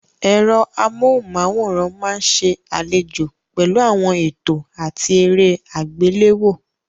Ẹ̀rọ amóhùnmáwòrán máa ń ṣe àlejò pẹ̀lú àwọn ètò àti eré àgbéléwò.